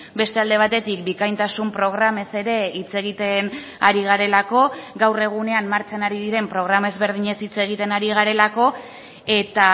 beste alde batetik bikaintasun programez ere hitz egiten ari garelako gaur egunean martxan ari diren programa ezberdinez hitz egiten ari garelako eta